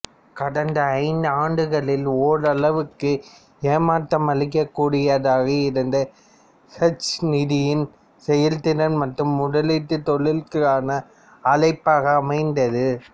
கடந்த ஐந்தாண்டுகளில் ஓரளவிற்கு ஏமாற்றமளிக்கக்கூடியதாக இருந்த ஹெட்ஜ் நிதியின் செயல்திறன் மாற்று முதலீ்ட்டுத் தொழிலுக்கான அழைப்பாக அமைந்தது